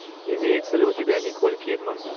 имеется ли у тебя николь кидман